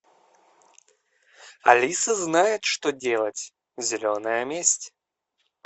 алиса знает что делать зеленая месть